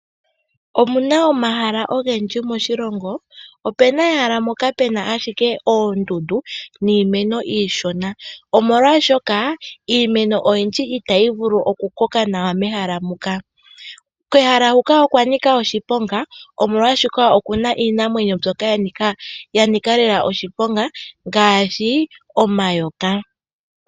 Omuna omahala ogendji moshilongo, opena ehala moka pena ashike oondundu niimeno iishona, omolwaashoka iimeno oyindji itayi vulu okukoka nawa mehala muka, kehala huka okwanika oshiponga oshoka okuna iinamwenyo mbyoka yanika lela oshiponga ngaashi omayoka.